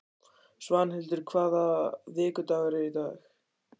Svanhildur, hvaða vikudagur er í dag?